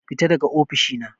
Fita daga ofishi na.